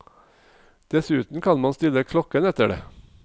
Dessuten kan man stille klokken etter det.